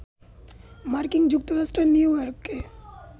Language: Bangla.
মার্কিন যুক্তরাষ্ট্রের নিউইয়র্কে